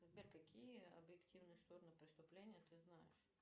сбер какие объективные стороны преступления ты знаешь